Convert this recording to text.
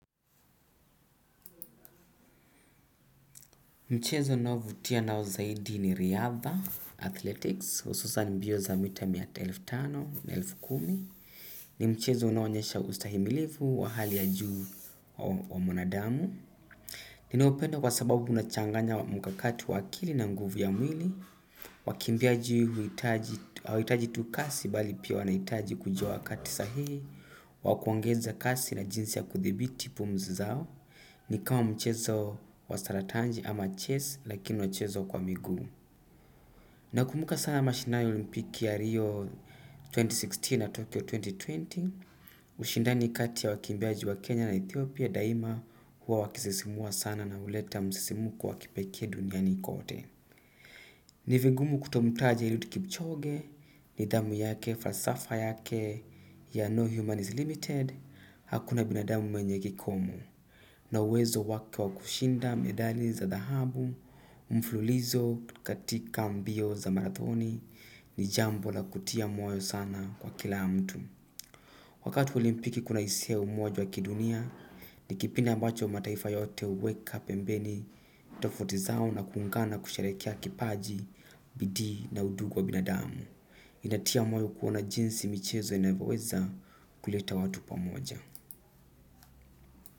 Mchezo ninaovutia nao zaidi ni Riyadha Athletics, ususan mbio za mita miata elfu tano na elfu kumi. Ni mchezo unaoanyesha ustahimilifu wa hali ya juu wa mwanadamu. Ninaupenda kwa sababu unachanganya mkakati wa akili na nguvu ya mwili. Wakimbiaji huitaji hawahitaji tu kasi bali pia wanahitaji kujua wakati sahihi. Wakuongeza kasi na jinsi ya kuthibiti pumzi zao. Ni kama mchezo wa saratanji ama chess lakini unachezwa kwa miguu. Nakumbuka sana mshinbani ya olimpiki ya Rio elfu mbili na kumi na sita na Tokyo elfu mbili na ishirini. Ushindani kati ya wakimbiaji wa Kenya na Ethiopia daima huwa wakisisimua sana na huleta msesimuko wakipekee duniani kote. Ni vigumu kutomtaje eliud kipchoge, nidhamu yake, falsafa yake ya No Human is Limited. Hakuna binadamu mwenye kikomo. Na uwezo wake wa kushinda medali za dhahabu, mfululizo katika ambio za marathoni, ni jambo la kutia moyo sana kwa kila mtu. Wakati olimpiki kuna hisia umoja wa kidunia, ni kipindi ambacho mataifa yote huweka pembeni tofauti zao na kuungana kusherehekea kipaji, bidii na undugu wa binadamu. Inatia moyo kuona jinsi michezo inavyoweza kuleta watu pamoja.